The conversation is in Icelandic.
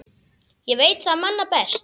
Ég veit það manna best.